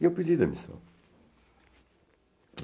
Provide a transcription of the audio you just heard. E eu pedi demissão.